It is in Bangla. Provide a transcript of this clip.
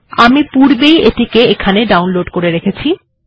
আমি পূর্বে ই এটিকে এখানে ডাউনলোড করে রেখেছি